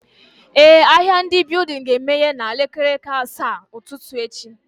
Eh, ahịa ndị building ga emeye na elekere asaa nke ụtụtụ echi